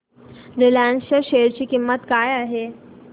Reliance च्या share ची किंमत काय आहे